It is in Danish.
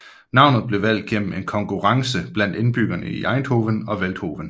Navnet blev valgt gennem en konkurrence blandt indbyggerne i Eindhoven og Veldhoven